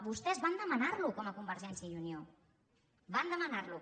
vostès van demanar lo com a convergència i unió van demanar lo